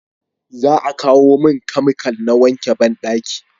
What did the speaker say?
za a kawo mun kamikal da wanke banɗaki